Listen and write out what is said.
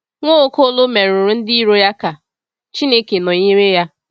Nwaokolo merụrụ ndị iro ya ka Chineke nọnyere ya.